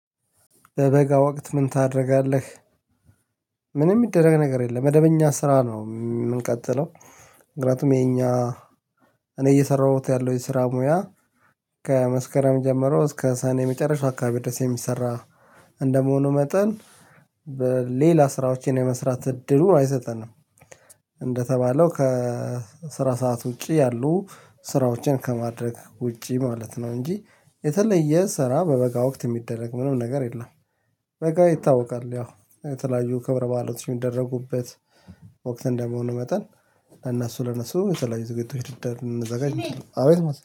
በበጋ ወቅት ምን ታደርጋለህ? ምንም የሚደረግ ነገር የለም መደበኛ ስራ ነው የምንቀጥለው። ምክንያቱም የኛ እኔ እየሰራሁት ያለው የስራ ሙያ ከመስከረም ጀምሮ እስከ ሳኔ የመጨረሻ አካባቢ ድረስ የሚሰራ እንደመሆኑ መጠን ሌላ ስራዎችን የመስራት እድሉን አይሰጠንም። እንደተባለው ከስራ ሰዓት ውጪ ያሉ ስራዎችን ከማድረግ ውጪ ማለት ነው። እንጂ የተለየ ስራ በበጋ ወቅት የሚደረግ ምንም ነገር የለም። በቃ ይታወቃል ያው የተለያዩ ክብረ በዓለቶች የሚደረጉበት ወቅት እንደመሆኑ መጠን እና ለእናሱ ለእናሱ የተለያዩ ዝግጅቶች ይደር ልንዘጋጅ። አቤት ማስ